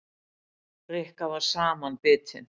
Rikka var samanbitin.